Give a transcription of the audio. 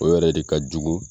O yɛrɛ de ka jugu